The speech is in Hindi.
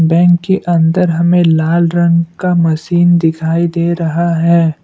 बैंक के अंदर हमें लाल रंग का मशीन दिखाई दे रहा है।